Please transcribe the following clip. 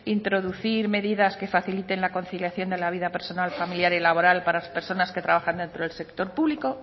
introducir medidas que faciliten la conciliación de la vida personal familiar y laboral para las personas que trabajan dentro del sector público